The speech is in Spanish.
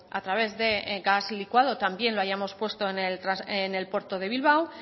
a través de gas licuado también lo hayamos puesto en el puerto de bilbao